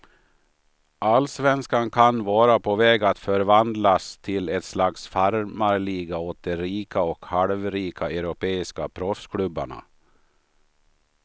Allsvenskan kan vara på väg att förvandlas till ett slags farmarliga åt de rika och halvrika europeiska proffsklubbarna.